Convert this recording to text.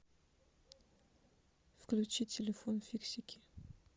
включи телефон фиксики